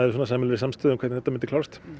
samstöðu um hvernig þetta mundi klárast